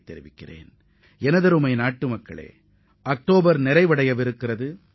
எனதருமை நாட்டு மக்களே அக்டோபர் மாதம் முடிவடையவுள்ளது பருவநிலையில் பெரும் மாற்றம் ஏற்பட்டுள்ளதை உணர முடிகிறது